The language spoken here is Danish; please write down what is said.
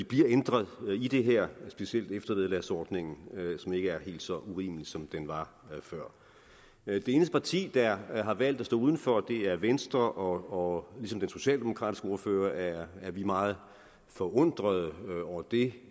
bliver ændret i det her specielt eftervederlagsordningen som ikke er helt så urimelig som den var før det eneste parti der har valgt at stå udenfor er venstre og ligesom den socialdemokratiske ordfører er vi meget forundrede over det